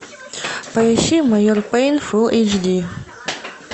поищи майор пейн фулл эйч ди